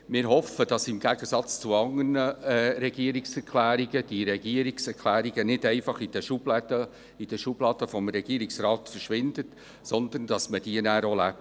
Wir hoffen, dass diese Regierungsrichtlinien im Gegensatz zu anderen Regierungserklärungen nicht einfach in den Schubladen des Regierungsrates verschwinden, sondern dass man sie auch lebt.